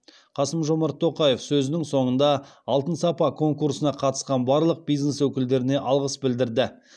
қасым жомарт тоқаев сөзінің соңында алтын сапа конкурсына қатысқан барлық бизнес өкілдеріне алғыс білдірді